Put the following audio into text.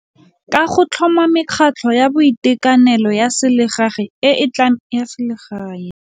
Ka go tlhoma mekgatlho ya boitekanelo ya selegae.